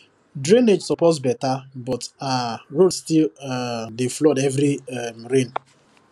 drainage suppose better but um road still um dey flood after every um rain